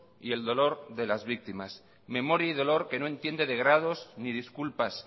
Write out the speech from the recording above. y el dolor de las víctimas memoria y dolor que no entiende de grados ni disculpas